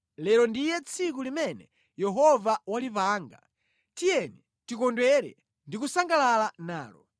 Lero ndiye tsiku limene Yehova walipanga; tiyeni tikondwere ndi kusangalala nalo.